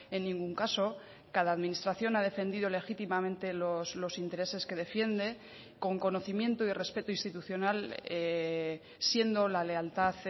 en ningún caso cada administración ha defendido legítimamente los intereses que defiende con conocimiento y respeto institucional siendo la lealtad